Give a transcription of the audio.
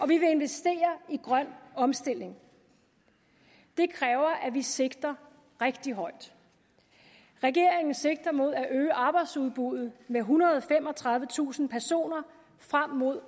vi vil investere i grøn omstilling det kræver at vi sigter rigtig højt regeringen sigter mod at øge arbejdsudbuddet med ethundrede og femogtredivetusind personer frem mod